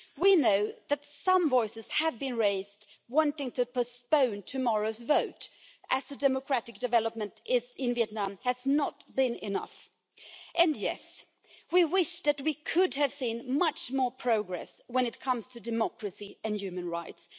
We know that some voices have been raised wanting to postpone tomorrow's vote, as the democratic development in Vietnam has not been enough, and yes, we wish that we could have seen much more progress when it comes to democracy and human rights.